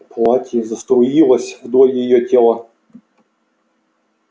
платье заструилось вдоль её тела